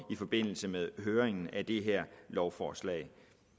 i forbindelse med høringen af det her lovforslag